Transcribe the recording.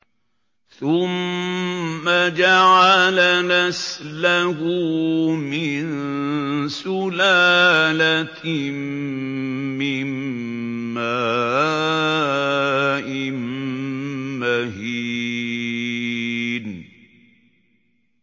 ثُمَّ جَعَلَ نَسْلَهُ مِن سُلَالَةٍ مِّن مَّاءٍ مَّهِينٍ